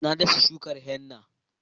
Na dasa shukar henna